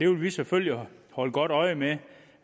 vil selvfølgelig holde godt øje med